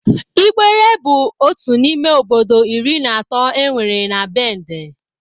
Ịgbere bụ otu n'ime obodo iri na atọ enwere na Bẹndẹ.